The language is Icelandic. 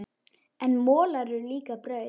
En molar eru líka brauð.